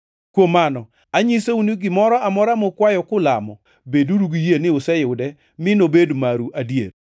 Kuom mano anyisou ni gimoro amora mukwayo kulamo, beduru gi yie ni useyude mi nobed maru adier.